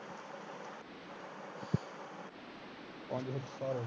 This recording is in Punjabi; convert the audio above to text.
ਪੰਜ ਸੱਤ ਸਾਲ ਹੋ ਗਏ